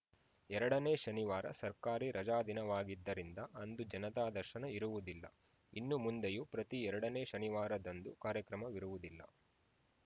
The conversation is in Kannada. ಎರಡನೇ ಶನಿವಾರ ಸರ್ಕಾರಿ ರಜಾದಿನವಾಗಿದ್ದರಿಂದ ಅಂದು ಜನತಾ ದರ್ಶನ ಇರುವುದಿಲ್ಲ ಇನ್ನು ಮುಂದೆಯೂ ಪ್ರತಿ ಎರಡನೇ ಶನಿವಾರದಂದು ಕಾರ್ಯಕ್ರಮವಿರುವುದಿಲ್ಲ